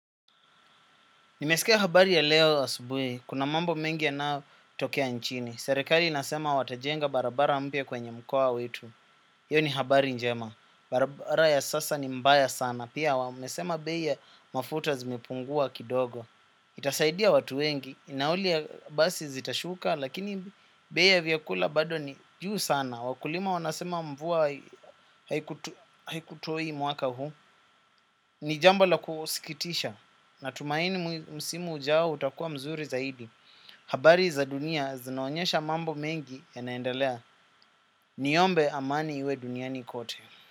Nimesikea habari ya leo asubui. Kuna mambo mengi yanao tokea nchini. Serekari inasema watajenga barabara mbia kwenye mkoa wetu. Hiyo ni habari njema. Barabara ya sasa ni mbaya sana. Pia wamesema bei ya mafuta zimepungua kidogo. Itasaidia watu wengi. Nauli ya basi zitashuka. Lakini bei ya viakula bado ni juu sana. Wakulima wanasema mvua haikutoi mwaka huu. Ni jambo la kusikitisha na tumaini msimu ujao utakuwa mzuri zaidi. Habari za dunia zinaonyesha mambo mengi yanaendalea. Niyombe amani iwe duniani kote.